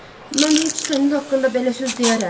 Mən heç sənin haqqında belə söz deyərəm?